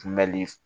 Kunbɛli